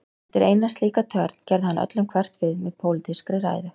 Eftir eina slíka törn, gerði hann öllum hverft við með pólitískri ræðu.